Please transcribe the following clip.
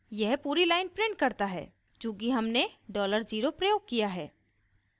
यह पूरी line prints करता है चूँकि हमने $0 प्रयोग किया है